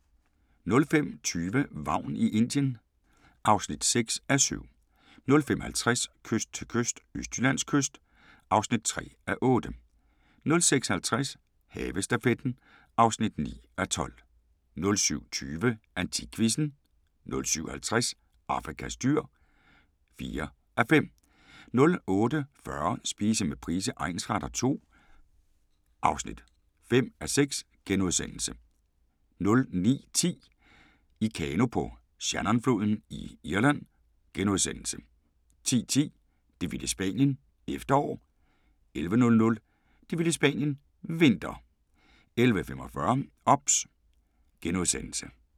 05:20: Vagn i Indien (6:7) 05:50: Kyst til kyst – Østjyllands kyst (3:8) 06:50: Havestafetten (9:12) 07:20: AntikQuizzen 07:50: Afrikas dyr (4:5) 08:40: Spise med Price egnsretter II (5:6)* 09:10: I kano på Shannonfloden i Irland * 10:10: Det vilde Spanien - efterår 11:00: Det vilde Spanien – vinter 11:45: OBS *